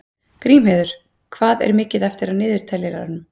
Grímheiður, hvað er mikið eftir af niðurteljaranum?